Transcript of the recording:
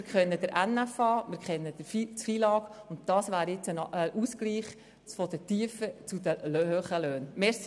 Wir kennen den Nationalen Finanzausgleich (NFA), wir kennen den FILAG, und hier wäre jetzt ein Ausgleich zwischen tiefen und hohen Löhnen möglich.